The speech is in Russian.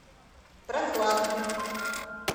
прохладном